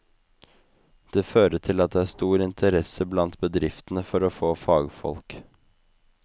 Det fører til at det er stor interesse blant bedriftene for å få fagfolk.